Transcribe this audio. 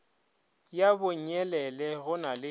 ya bonyelele go na le